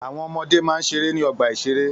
Àwọn ọmọde máa ń ṣeré ní ọgbà-ìṣeré